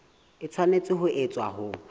e tshwanetse ho etswa ho